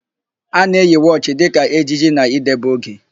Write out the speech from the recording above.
A na-eyi wọchị dịka ejiji na idebe oge.